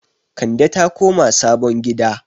Kande ta koma sabon gida